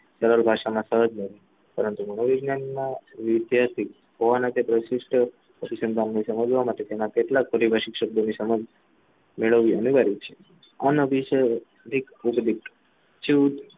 તમારી ભાષામાં પરંતુ વૈજ્ઞાનિકમાં ઐતિહાસિક હવાના કે પ્રશિષ્ટ અનુસંધાનની સમજવા માટે તેના કેટલાક પારિભાષિક શબ્દો મેળવવાની છે અનિવાર્ય છે અનઅભિસય અધિક